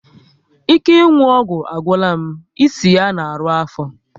Ike ịnwụ ọgwụ agwụla m, isi ya na arụ afọ